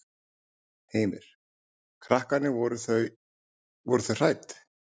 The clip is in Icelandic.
Heimir: Krakkarnir, voru þau, voru þau hrædd?